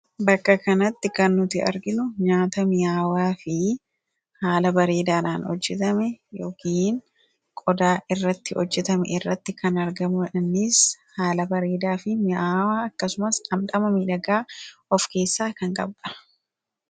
Bakka kanatti kan nuti arginu nyaata mi'aawaa fi haala bareedaadhaan hojjetame yookiin qodaa irratti hojjetame irratti kan argamu dha. Innis haala bareedaa fi mi'aawaa akkasumas dhamdhama miidhagaa of keessaa kan qabu dha.